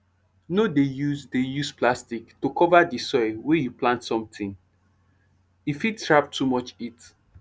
no dey use dey use plastic to cover di soil wey you plant something e fit trap too much heat